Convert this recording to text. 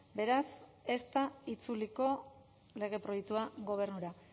beraz ez da itzuliko lege proiektua gobernura